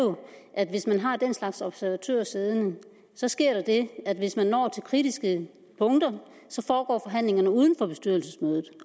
at hvis man har den slags observatører siddende sker der det at hvis man når til kritiske punkter foregår forhandlingerne uden for bestyrelsesmødet